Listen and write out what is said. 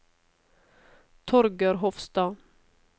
Torger Hofstad